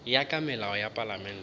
ya ka molao wa palamente